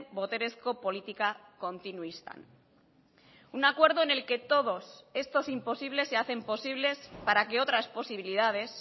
boterezko politika kontinuistan un acuerdo en el que todos estos imposibles se hacen posibles para que otras posibilidades